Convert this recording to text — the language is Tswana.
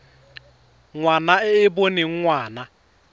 ngwana e e boneng ngwana